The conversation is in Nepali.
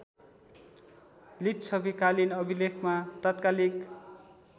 लिच्छवीकालिन अभिलेखमा तात्कालीक